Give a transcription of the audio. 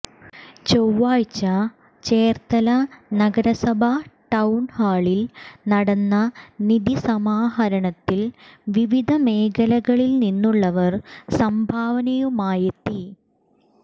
ചൊവ്വാഴ്ച ചേർത്തല നഗരസഭാ ടൌൺഹാളിൽ നടന്ന നിധി സമാഹരണത്തിൽ വിവിധ മേഖലകളിൽനിന്നുള്ളവർ സംഭാവനയുമായെത്തി